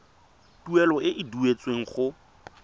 tuelo e e duetsweng go